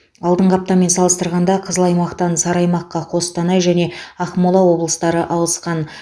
алдыңғы аптамен салыстырғанда қызыл аймақтан сары аймаққа қостанай және ақмола облыстары ауысқан